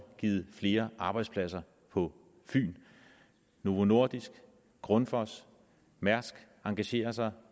givet flere arbejdspladser på fyn novo nordisk grundfos og mærsk engagerer sig